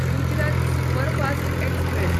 Gujarat superfast express